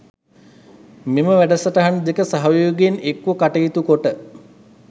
මෙම වැඩසටහන් දෙක සහයෝගයෙන් එක්ව කටයුතු කොට